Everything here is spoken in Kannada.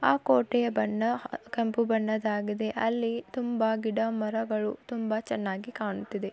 ಆ ಕೋಟೆಯ ಬಣ್ಣ ಆಹ್ ಕೆಂಪು ಬಣ್ಣದಾಗಿದೆ ಅಲ್ಲಿ ತುಂಬಾ ಗಿಡ ಮರಗಳು ತುಂಬಾ ಚೆನ್ನಾಗಿ ಕಾಣ್ತಿದೆ.